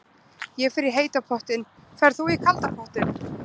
Ég fer í heita pottinn. Ferð þú í kalda pottinn?